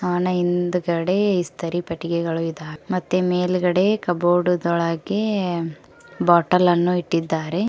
ಅನ ಇಂದ್ಗಡೆ ಇಸ್ತರಿ ಪೆಟ್ಟಿಗೆಗಳು ಇದ್ದಾವೆ ಮತ್ತೆ ಮೇಲ್ಗಡೆ ಕಬೋರ್ಡ್ ದೊಳಗೆ ಬಾಟಲ್ ಅನ್ನು ಇಟ್ಟಿದ್ದಾರೆ.